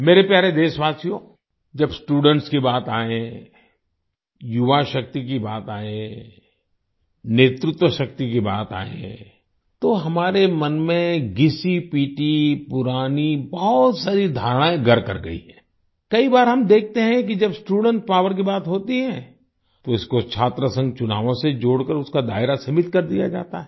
मेरे प्यारे देशवासियो जब स्टूडेंट्स की बात आए युवा शक्ति की बात आए नेतृत्व शक्ति की बात आए तो हमारे मन में घिसीपिटी पुरानी बहुत सारी धारणाएं घर कर गयी है आई कई बार हम देखते हैं कि जब स्टूडेंट पॉवर की बात होती है तो इसको छात्रसंघ चुनावों से जोड़कर उसका दायरा सीमित कर दिया जाता है